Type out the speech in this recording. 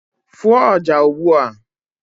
fụọ ọjà ugbu a!